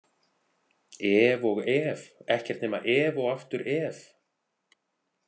Ef og ef, ekkert nema ef og aftur ef.